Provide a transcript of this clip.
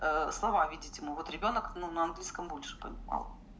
а слова видеть ему вот ребёнок ну на английском больше понимал